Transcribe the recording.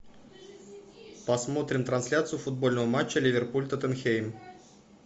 посмотрим трансляцию футбольного матча ливерпуль тоттенхэм